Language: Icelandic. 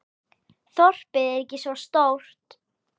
Þorpið er ekki svo stórt.